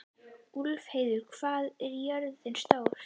Úlfheiður, hvað er jörðin stór?